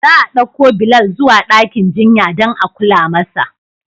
Za a ɗauko Bilal zuwa dakin jinya don a kula masa.